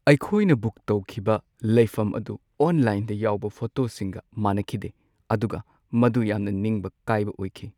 ꯑꯩꯈꯣꯏꯅ ꯕꯨꯛ ꯇꯧꯈꯤꯕ ꯂꯩꯐꯝ ꯑꯗꯨ ꯑꯣꯟꯂꯥꯏꯟꯗ ꯌꯥꯎꯕ ꯐꯣꯇꯣꯁꯤꯡꯒ ꯃꯥꯟꯅꯈꯤꯗꯦ, ꯑꯗꯨꯒ ꯃꯗꯨ ꯌꯥꯝꯅ ꯅꯤꯡꯕ ꯀꯥꯏꯕ ꯑꯣꯏꯈꯤ ꯫